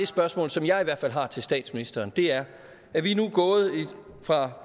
spørgsmål som jeg i hvert fald har til statsministeren vi er gået fra